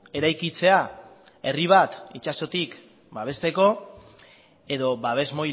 eraikitzea herri bat itsasotik babesteko edo babes